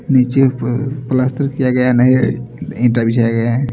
नीचे पर पलस्तर किया गया है नया ईटा बिछाया गया है।